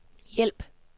hjælp